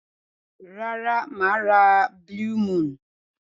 Rara, maa ra blue moon.